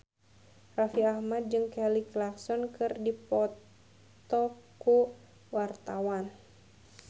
Raffi Ahmad jeung Kelly Clarkson keur dipoto ku wartawan